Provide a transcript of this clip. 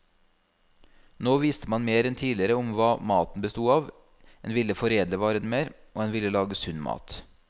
Nå visste man mer enn tidligere om hva maten bestod av, en ville foredle varene mer, og en ville lage sunn mat.